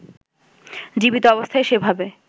জীবিত অবস্থায় সেভাবে